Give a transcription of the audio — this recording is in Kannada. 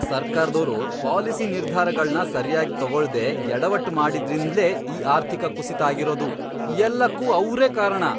ಸರ್ಕಾರ್ದೋರು ಪಾಲಿಸಿ ನಿರ್ಧಾರಗಳ್ನ ಸರ್ಯಾಗ್ ತಗೊಳ್ದೇ ಎಡವಟ್ಟ್ ಮಾಡಿದ್ರಿಂದ್ಲೇ ಈ ಆರ್ಥಿಕ ಕುಸಿತ ಆಗಿರೋದು, ಎಲ್ಲಕ್ಕೂ ಅವ್ರೇ ಕಾರಣ.